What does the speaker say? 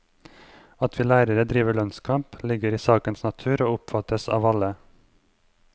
At vi lærere driver lønnskamp, ligger i sakens natur og oppfattes av alle.